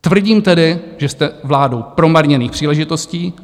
Tvrdím tedy, že jste vládou promarněných příležitostí.